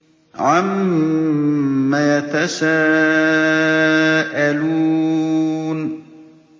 عَمَّ يَتَسَاءَلُونَ